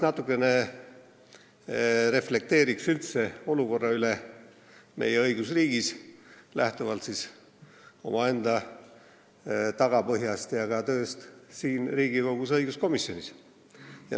Ma reflekteeriksin üldse olukorra üle meie õigusriigis, lähtuvalt omaenda tagapõhjast ja ka tööst Riigikogu õiguskomisjonis.